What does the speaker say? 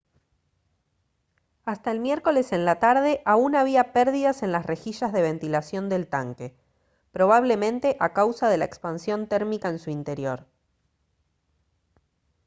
hasta el miércoles en la tarde aún había pérdidas en las rejillas de ventilación del tanque probablemente a causa de la expansión térmica en su interior